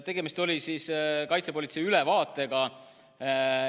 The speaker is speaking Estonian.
Tegemist oli kaitsepolitsei ülevaatega.